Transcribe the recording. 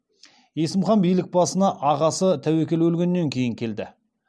есім хан билік басына ағасы тәуекел өлгеннен кейін келді